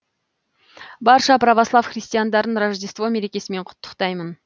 барша православ христиандарын рождество мерекесімен құттықтаймын